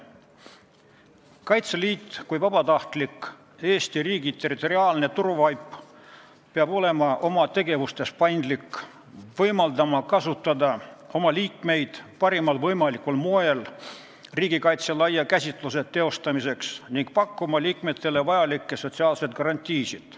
Kaitseliit kui Eesti riigi territoriaalne vabatahtlik turvavaip peab olema oma tegevustes paindlik, võimaldama kasutada oma liikmeid parimal võimalikul moel riigikaitse laia käsitluse teostamiseks ning pakkuma liikmetele sotsiaalseid garantiisid.